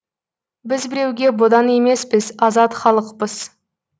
біз біреуге бодан емеспіз азат халықпыз